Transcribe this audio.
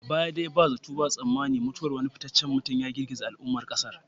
A baya dai ba zato ba tsammani mutuwar wani fitaccen mutumi ya girgiza al'ummar kasar.